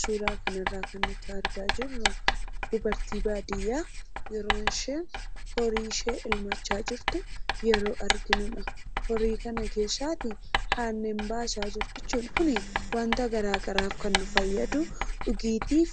Suuraa kanarraa kan nuti argaa jirru dubartii baadiyyaa yeroo isheen horii ishee elmachaa jirtu arginudha. Horii kana keessaa aannan baasaa jirti jechuudha. Kunis wanta gara garaatiif kan fayyadu, kunis dhugaatiif,